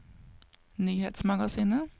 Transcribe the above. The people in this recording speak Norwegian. nyhetsmagasinet